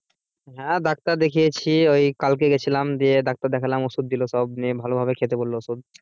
হ্যাঁ ডাক্তার দেখিয়েছে ওই কালকে গিয়েছিলাম দিয়ে ডাক্তার দেখলাম নিয়ে ওষুধ দিলো সব নিয়ে ভালো ভাবে খেতে বললো ওষুধ।